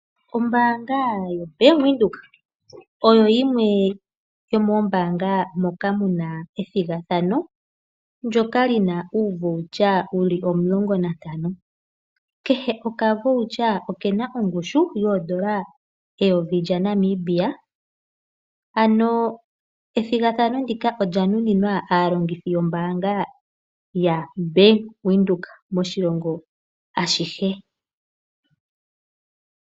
Ombaanga yoBank Windhoek oyo yimwe yomoombaanga ndjoka yi na ethigathano li na uukalakalata wu li omulongo nuutano. Kehe okakalata oke na ongushu yooN$ 1000. Ethigathano ndika olya nuninwa aalongithi yombaanga yaBank Windhoek moshilongo ashihe.